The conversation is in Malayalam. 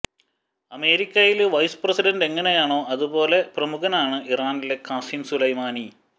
അമേരിക്കയില് വൈസ് പ്രസിഡന്റ് എങ്ങനെയാണോ അതുപോലെ പ്രമുഖനാണ് ഇറാനില് ഖാസിം സുലൈമാനി